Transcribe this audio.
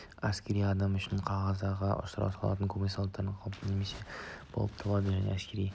әскери адам үшін қазаға ұшырау солдат кәсібінің салдары қалыпты нәрсе болып табылады және де әскери